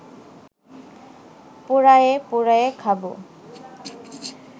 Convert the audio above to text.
পোড়ায়ে পোড়ায়ে খাব